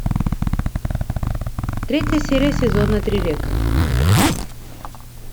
третья серия сезона три река